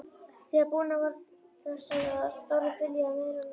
Þegar búinn að þessu var, Þórður fyljaði merarnar.